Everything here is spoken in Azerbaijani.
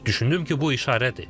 Düşündüm ki, bu işarədir.